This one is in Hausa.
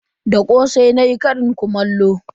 Da kosai nayi karin kumallo.